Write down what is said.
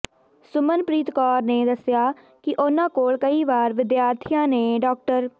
ਸੁਮਨਪ੍ਰੀਤ ਕੌਰ ਨੇ ਦੱਸਿਆ ਕਿ ਉਨ੍ਹਾਂ ਕੋਲ ਕਈ ਵਾਰ ਵਿਦਿਆਰਥੀਆਂ ਨੇ ਡਾ